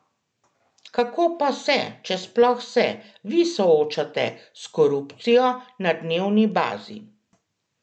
Kako pa se, če sploh se, vi soočate s korupcijo na dnevni bazi?